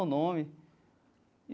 O nome.